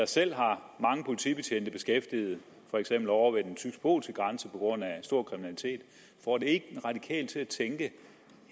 selv har mange politibetjente beskæftiget for eksempel ovre ved den tysk polske grænse på grund af stor kriminalitet får det ikke en radikal til at tænke